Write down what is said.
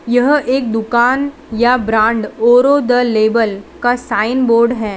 यह एक दुकान या ब्रांड औरों द लेवल का साइन बोर्ड है।